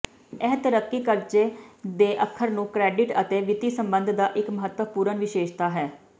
ਇਹ ਤਰੱਕੀ ਕਰਜ਼ੇ ਦੇ ਅੱਖਰ ਨੂੰ ਕਰੈਡਿਟ ਅਤੇ ਵਿੱਤੀ ਸੰਬੰਧ ਦਾ ਇੱਕ ਮਹੱਤਵਪੂਰਨ ਵਿਸ਼ੇਸ਼ਤਾ ਹੈ